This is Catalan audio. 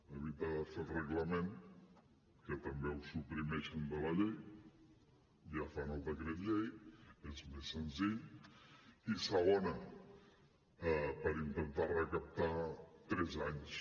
evitar de fer el reglament que també ho suprimeixen de la llei ja fan el decret llei és més senzill i segona per intentar recaptar tres anys